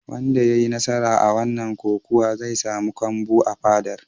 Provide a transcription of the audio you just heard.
Wanda ya yi nasara a wannan kokawa zai samu kambu a fadar.